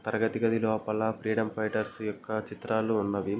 తరగతి గది లోపల ఫ్రీడమ్ ఫైటర్స్ యొక్క చిత్రాలు ఉన్నవి.